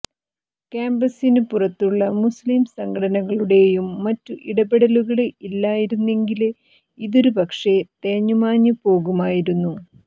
കാമ്പസിനു പുറത്തുള്ള മുസ്ലിം സംഘടനകളുടെയും മറ്റും ഇടപെടലുകള് ഇല്ലായിരുന്നെങ്കില് ഇതൊരുപക്ഷേ തേഞ്ഞുമാഞ്ഞ് പോകുമായിരുന്നു